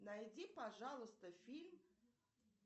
найди пожалуйста фильм